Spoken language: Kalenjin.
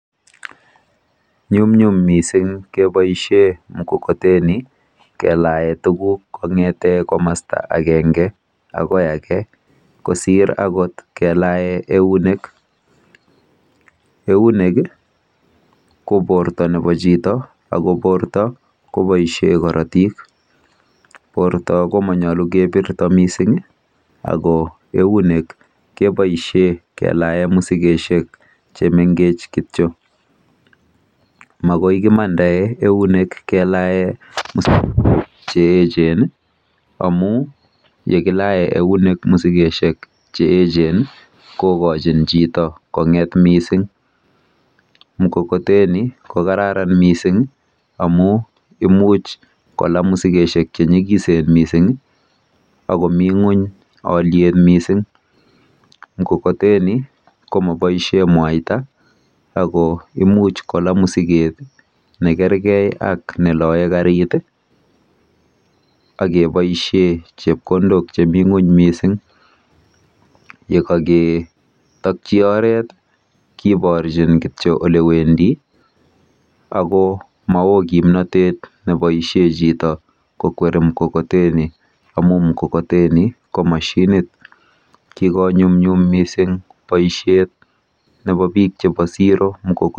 Nyumnyum mising keboishe mkokoteni kelae tuguk kong'ete komasta akenge akoi ake kosir akot kelae eunek. Eunek ko porto nepo chito ako porto koboishe korotik. Porto komonyolu kepirto mising ako eunek keboishe kelae musikeshek chemengech kityo. Makoi kemandae eunek kelae musikoshek cheechen amu yekilae eunek musikeshek cheechen kokochin chito kong'et mising. Mkokoteni kokararan mising amu imuch kola musikeshek chenyikisen mising akomi ng'uny alyet mising. Mkokoteni ko maboishe mwaita ako imuch kola musiket nekergei ak neloe karit akeboishe chepkondok chemi ng'uny mising. Yekaketokchi oret keborchin kityo olewendi ako mao kimnotet nebvoishe chito kokweri mkokoteni amu mkokoteni ko mashinit. Kikonyumnyum mising boishet nepo biik chepo siro mkokoteni.